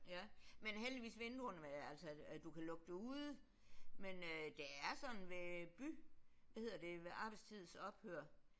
Ja men heldigvis vinduerne altså at du kan lukke det ude. Men øh det er sådan ved by hvad hedder det ved arbejdstids ophør